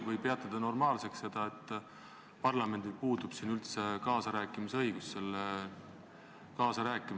Või te peate normaalseks, et parlamendil puudub siin üldse kaasarääkimise õigus?